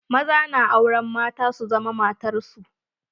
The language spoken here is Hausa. Maza na auren mata su zama matar su.